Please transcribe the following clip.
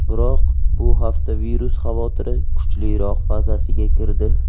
Biroq bu hafta virus xavotiri kuchliroq fazasiga kirdi .